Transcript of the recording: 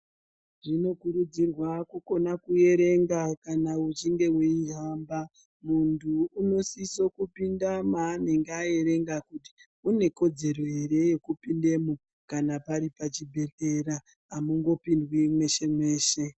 Zvinokurudzirwa kukona kuerenga kana uchinge weihamba. Munhu unosisa kupinda mwaanenge aerenga kuti une kodzero ere yekupindamwo kana pari pachibhedhlera amungopindwi mweshe mweshe.